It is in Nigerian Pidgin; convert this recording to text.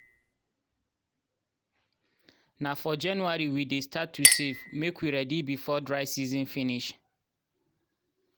na for january we dey start to save make we ready before dry season finish.